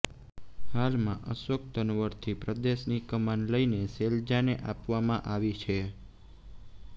હાલમાં અશોક તન્વરથી પ્રદેશની કમાન લઇને શૈલજાને આપવામાં આવી છે